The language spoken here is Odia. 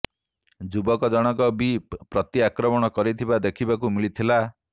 ଯୁବକ ଜଣଙ୍କ ବି ପ୍ରତି ଆକ୍ରମଣ କରିଥିବା ଦେଖିବାକୁ ମିଳିଥିଲା